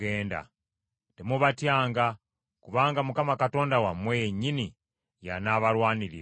Temubatyanga; kubanga Mukama Katonda wammwe yennyini y’anaabalwaniriranga.”